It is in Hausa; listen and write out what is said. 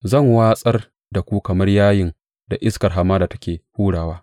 Zan watsar da ku kamar yayin da iskar hamada take hurawa.